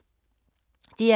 DR K